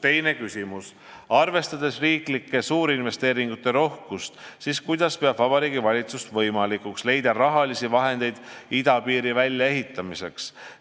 Teine küsimus: "Arvestades riiklike suurinvesteeringute rohkust, siis kuidas peab Vabariigi Valitsus võimalikuks leida rahalisi vahendeid idapiiri väljaehitamiseks?